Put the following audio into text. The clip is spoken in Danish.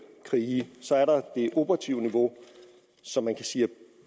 krige så er der det operative niveau som man kan sige